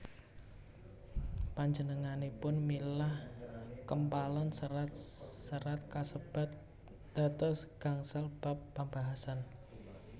Panjenenganipun milah kempalan serat serat kasebat dados gangsal bab pambahasan